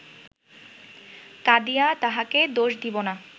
কাঁদিয়া তাঁহাকে দোষ দিব না